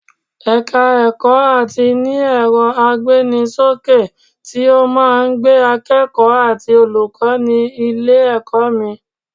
Ẹ̀ka ẹ̀kọ́ Áátì ní ẹ̀rọ agbéni ṣókè tí ó máa ń gbé akẹ́kọ̀ọ́ àti olùkọ́ ní ilé-ẹ̀kọ́ mi